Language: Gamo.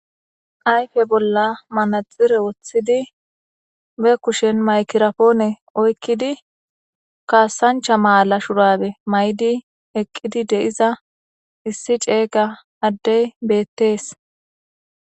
Ayfe bolla manaxire woththidi be kushen maykirapoone oykkidi kaasancha maala shurabe may'di eqqidi deiza issi ceeyga addey beettees.